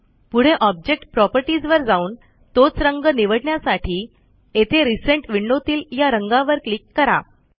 पुढे object properties वर जाऊन तोच रंग निवडण्यासाठी येथे रिसेंट विंडोतील या रंगावर क्लिक करा